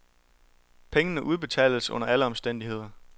Pengene udbetales under alle omstændigheder.